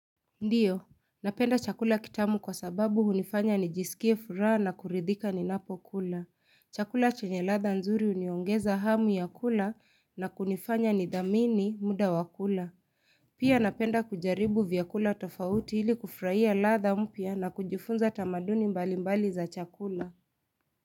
Ndiyo, napenda chakula kitamu kwa sababu hunifanya nijisikie furaha na kuridhika ninapo kula. Chakula chenye ladha nzuri huniongeza hamu ya kula na kunifanya nidhamini muda wakula. Pia napenda kujaribu vyakula tofauti ili kufarahia ladha mpya na kujifunza tamaduni mbalimbali za chakula.